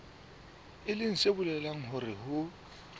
leng se bolelang hore ho